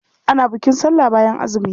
Ana bukin sallah bayan azumi.